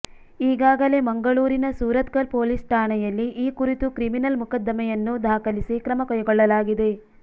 ಈಗಾಗಲೇ ಮಂಗಳೂರಿನ ಸೂರತ್ಕಲ್ ಪೊಲೀಸ್ ಠಾಣೆಯಲ್ಲಿ ಈ ಕುರಿತು ಕ್ರಿಮಿನಲ್ ಮೊಕದ್ದಮೆಯನ್ನು ದಾಖಲಿಸಿ ಕ್ರಮಕೈಗೊಳ್ಳಲಾಗಿದೆ